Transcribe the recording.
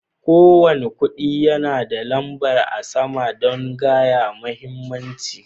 Ko wani kudi yana da lamba a sama dan gaya muhimmancin.